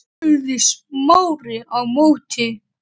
spurði Smári á móti.